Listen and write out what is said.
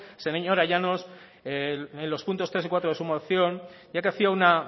señora llanos los puntos tres y cuarto de su moción ya que hacía una